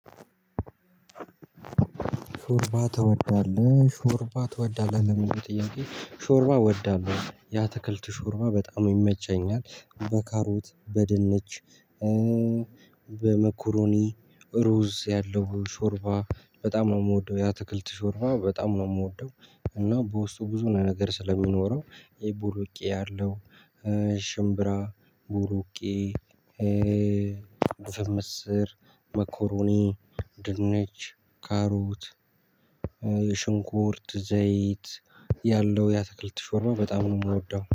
ሾርባ ትወዳለህ? ሾርባ ትወዳለህ ለመግዛት ጥያቄ ሾርባ እወዳለሁ ወዳለሁ ያትክልቱ ሾርባ በጣም ይመቸኛል በካሮት በድንች በመኮሮኒ ሩዝ ያለው ሾርባ በጣም ነው የምወደው ያትክልት ሾርባ በጣም ነው የምወደው። እና በውስጡ ብዙ ነገር ስለሚኖረው ይቡሩቄ ያለው ሽምብራ ቡሩቄ ዱፍን ምስር መኮሮኒ ድንች ካሮት ሽንኩርት ዘይት ያለው ያትክልት ሾርባ በጣም ነው የምወደው